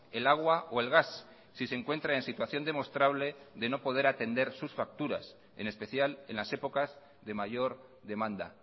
el agua o el gas si se encuentra en situación demostrable de no poder atender sus facturas en especial en las épocas de mayor demanda